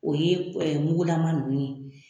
O ye mugulama ninnu ye.